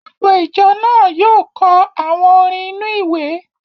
Gbogbo ìjọ náà yóò kọ àwọn orin inú-ìwé